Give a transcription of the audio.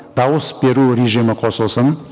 дауыс беру режимі қосылсын